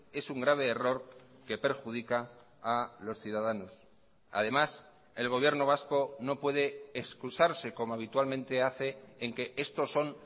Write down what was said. es un grave error que perjudica a los ciudadanos además el gobierno vasco no puede excusarse como habitualmente hace en que estos son